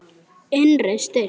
Innri styrk.